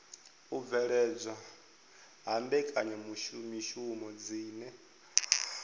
u bveledzwa ha mbekanyamishumo dzine